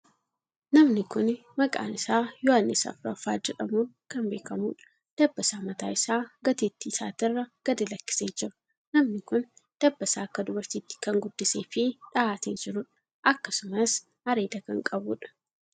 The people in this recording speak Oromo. Namni kuni maqaan isaa Yohaannis 4ffaa jedhamuun kan beekamuudha. Dabbasaa mataa isaa gateettii isaatirra gadi lakkisee jira. Namni kuni dabbasaa akka dubartiitti kan guddisee fi dhahatee jiruudha. Akkasumas, areeda kan qabuudha.